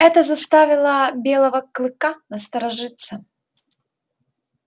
это заставило белого клыка насторожиться